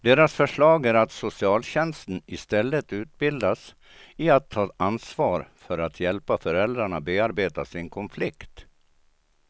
Deras förslag är att socialtjänsten istället utbildas i att ta ansvar för att hjälpa föräldrarna bearbeta sin konflikt.